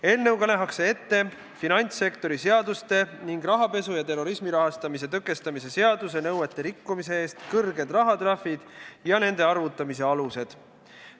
Eelnõuga nähakse ette finantssektori seaduste ning rahapesu ja terrorismi rahastamise tõkestamise seaduse nõuete rikkumise eest kõrged rahatrahvid ja nende arvutamise alused.